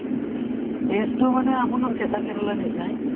test তো মানে আপোনাৰ কেঁচা কেৰেলাৰ নিচিনাই